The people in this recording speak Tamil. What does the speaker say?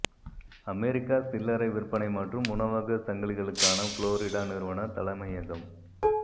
அமெரிக்க சில்லறை விற்பனை மற்றும் உணவக சங்கிலிகளுக்கான புளோரிடா நிறுவன தலைமையகம்